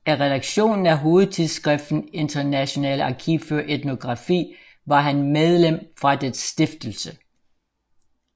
Af redaktionen af hovedtidsskriften Internationales Archiv für Etnographie var han medlem fra dets stiftelse